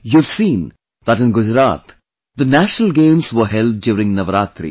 You have seen that in Gujarat the National Games were held during Navratri